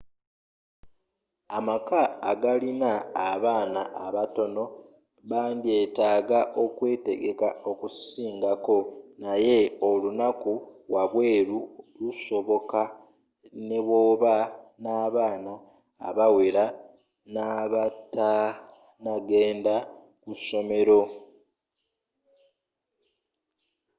amaka agalina abaana abatono bandyetaaga okwetegeka okusingako naye olunako wabweeru lusoboka nebwoba nabaana abawere n'abatanagenda kusomero